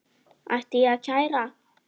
Ætti ég að kæra?